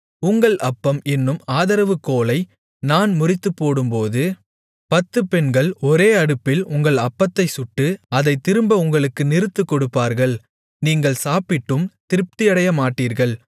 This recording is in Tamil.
உங்கள் அப்பம் என்னும் ஆதரவு கோலை நான் முறித்துப்போடும்போது பத்துப் பெண்கள் ஒரே அடுப்பில் உங்கள் அப்பத்தைச் சுட்டு அதைத் திரும்ப உங்களுக்கு நிறுத்துக்கொடுப்பார்கள் நீங்கள் சாப்பிட்டும் திருப்தியடையமாட்டீர்கள்